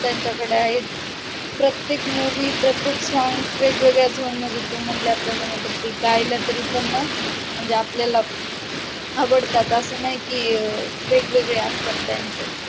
त्यांच्या कड आहे प्रत्येक movie प्रत्येक song वेगवेगळ्या zone मध्ये म्हणला प्रमाने गायल्या तरी पण ना म्हणजे आपल्याला आवडतात. त्याचं असं नाही की वेगवेगळे असतात आमचे